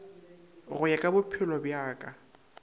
go ya ka bophelobja ka